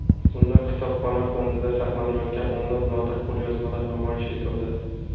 Unda kutubxona fondida saqlanayotgan o‘nlab nodir qo‘lyozmalar namoyish etildi.